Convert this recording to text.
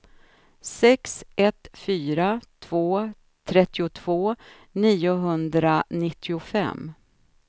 sex ett fyra två trettiotvå niohundranittiofem